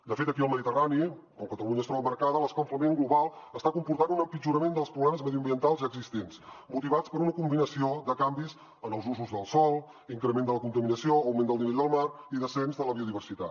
de fet aquí al mediterrani on catalunya es troba emmarcada l’escalfament global està comportant un empitjorament dels problemes mediambientals ja existents motivats per una combinació de canvis en els usos del sòl increment de la contaminació augment del nivell del mar i descens de la biodiversitat